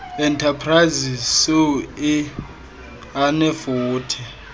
enterprises soe anefuthe